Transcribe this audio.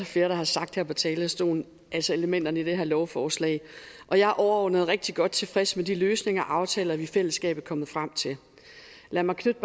flere der har sagt her fra talerstolen altså elementerne i det her lovforslag og jeg er overordnet rigtig godt tilfreds med de løsninger og aftaler vi i fællesskab er kommet frem til lad mig knytte